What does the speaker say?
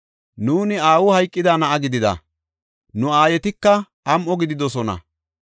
Nuuni aawi hayqida na7a gidida; nu aayetika am7o gididosona.